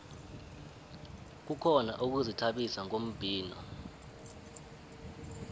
kukhona ukuzithabisa ngombhino